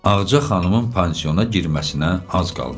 Ağca xanımın pansiona girməsinə az qalmışdı.